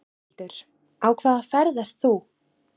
Þórhildur: Á hvaða ferð ert þú?